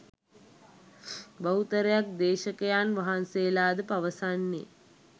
බහුතරයක් දේශකයන් වහන්සේලා ද පවසන්නේ